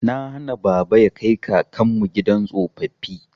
Na hana baba ya kai kakanmu gidan tsofaffi.